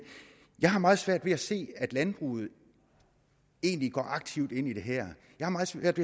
jeg har meget svært ved at se at landbruget egentlig går aktivt ind i det her jeg har meget svært